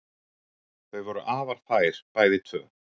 Þau voru afar fær bæði tvö.